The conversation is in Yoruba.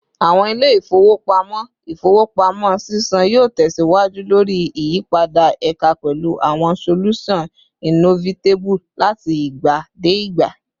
Awọn ile-ifowopamọ ifowopamọ sisan yoo tẹsiwaju lori iyipada eka pẹlu awọn solusan innovatibe lati igba de igba